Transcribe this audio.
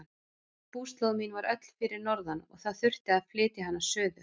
Búslóð mín var öll fyrir norðan og það þurfti að flytja hana suður.